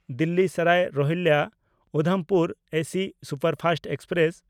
Delhi Sarai ᱨᱳᱦᱤᱞᱞᱟ–ᱩᱫᱷᱚᱢᱯᱩᱨ AC superfast express